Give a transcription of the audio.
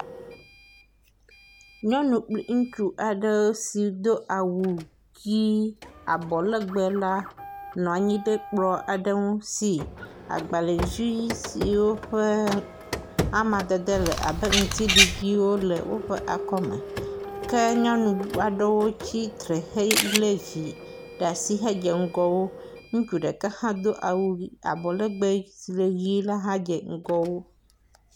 Nyɔnu kpl eŋutsu aɖe si do awu ʋi alɔlegbe la nɔ anyi ɖe kplɔ aɖe ŋu si agbalevi siwo ƒe amadede le abe ŋtiɖiɖiwo le woƒe akɔme ke nyɔnu aɖewo tsitre le vi ɖe asi hedze ŋgɔ wo. Ŋutsu ɖeka hã do awu ablegbe si le ʋi la hã dze ŋgɔ wo.